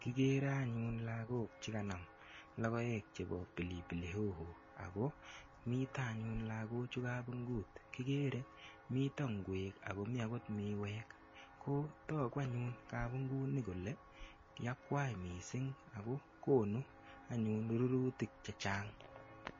Kigere anyun lagok che kanam logoek chebo pilipili hoho ago mito anyun lagochu kabungut. Kigere mito ingwek ago mi agot miwek. Kotagu anyun kabunguni kole yakwai mising ago konu anyun rurutik che chang.